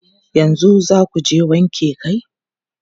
Yanzu za ku je wanke kai?